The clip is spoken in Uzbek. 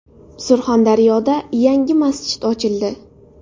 Surxondaryoda yangi masjid ochildi .